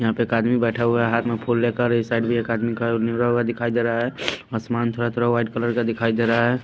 यहाँ पे एक आदमी बैठा हुआ है हाथ में फूल लेकर इस साइड भी एक आदमी का निवरा हुआ दिखाई दे रहा है आसमान थोड़ा-थोड़ा व्हाईट कलर का दिखाई दे रहा है।